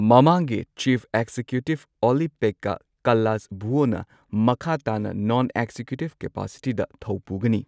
ꯃꯃꯥꯡꯒꯤ ꯆꯤꯐ ꯑꯦꯛꯖꯤꯀ꯭ꯌꯨꯇꯤꯕ ꯑꯣꯂꯤ ꯄꯦꯛꯀꯥ ꯀꯜꯂꯥꯁꯚꯨꯑꯣꯅ ꯃꯈꯥ ꯇꯥꯅ ꯅꯣꯟ ꯑꯦꯛꯖꯤꯀ꯭ꯌꯨꯇꯤꯞ ꯀꯦꯄꯥꯁꯤꯇꯤꯗ ꯊꯧ ꯄꯨꯒꯅꯤ꯫